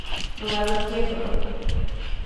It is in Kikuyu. ndũgathũkie ngoro